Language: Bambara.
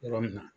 Yɔrɔ min na